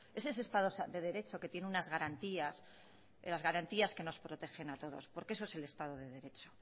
es ese estado de derecho que tiene unas garantías las garantías que nos protegen a todos porque eso es el estado de derecho